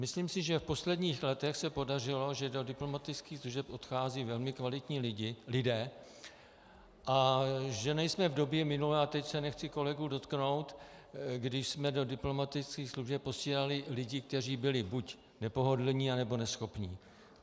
Myslím si, že v posledních letech se podařilo, že do diplomatických služeb odcházejí velmi kvalitní lidé a že nejsme v době minulé, a teď se nechci kolegů dotknout, když jsme do diplomatických služeb posílali lidi, kteří byli buď nepohodlní, nebo neschopní.